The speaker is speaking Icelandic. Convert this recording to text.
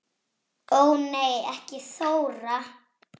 Ó nei ekki Þóra